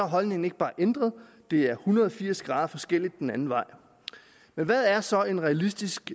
holdningen ikke bare ændret det er en hundrede og firs grader forskelligt den anden vej men hvad er så en realistisk